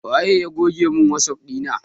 Waye goge mun wasap ɗina na?